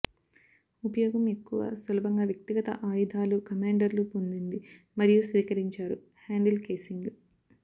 ఉపయోగం ఎక్కువ సులభంగా వ్యక్తిగత ఆయుధాలు కమాండర్లు పొందింది మరియు స్వీకరించారు హ్యాండిల్ కేసింగ్